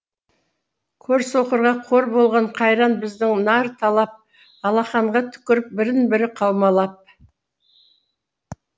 көрсоқырға қор болған қайран біздің нар талап алақанға түкіріп бірін бірі қаумалап